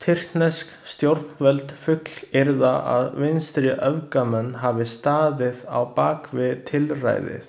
Tyrknesk stjórnvöld fullyrða að vinstriöfgamenn hafi staðið á bak við tilræðið.